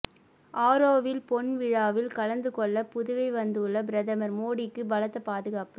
ஆரோவில் பொன்விழாவில் கலந்துகொள்ள புதுவை வந்துள்ள பிரதமர் மோடிக்கு பலத்த பாதுகாப்பு